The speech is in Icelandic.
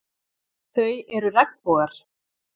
Þau eru regnbogar.